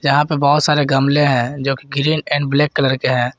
यहां पर बहुत सारे गमले हैं जो कि ग्रीन एंड ब्लैक कलर के हैं।